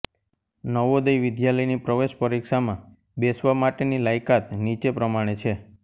નવોદય વિદ્યાલયની પ્રવેશ પરિક્ષામાં બેસવા માટેની લાયકાત નીચે પ્રમાણે છે